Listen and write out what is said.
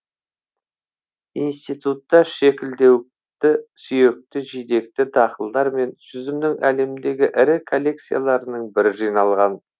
институтта шекілдеуікті сүйекті жидекті дақылдар мен жүзімнің әлемдегі ірі коллекцияларының бірі жиналған